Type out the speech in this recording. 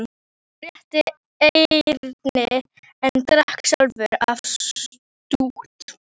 Hann rétti Erni en drakk sjálfur af stút.